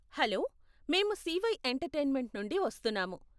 Hello, మేము CY entertainment నుండి వస్తున్నాము.